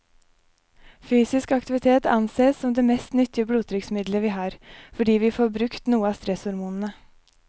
Fysisk aktivitet ansees som det mest nyttige blodtrykksmiddelet vi har, fordi vi får brukt noe av stresshormonene.